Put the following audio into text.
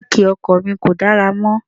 Jáákì ọkọ̀ mi kò dára mọ́.